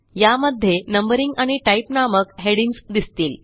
यामध्ये Numberingआणि टाइप नामक हेडिंग्ज दिसतील